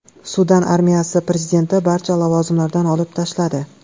Sudan armiyasi prezidentni barcha lavozimlardan olib tashladi.